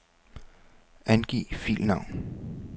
Angiv filnavn.